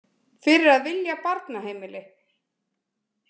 Fyrir að vilja barnaheimili.